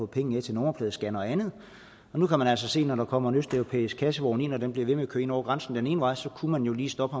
penge til nummerpladescannere og andet og nu kan man altså se når der kommer en østeuropæisk kassevogn ind og den bliver ved med at køre ind over grænsen den ene vej så kunne man jo lige stoppe